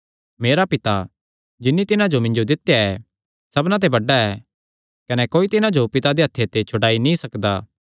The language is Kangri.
मेरा पिता जिन्नी तिन्हां जो मिन्जो दित्या ऐ सबना ते बड्डा ऐ कने कोई तिन्हां जो पिता दे हत्थे ते छड्डाई नीं सकदा